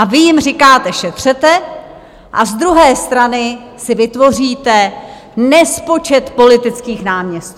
A vy jim říkáte šetřete, a z druhé strany si vytvoříte nespočet politických náměstků.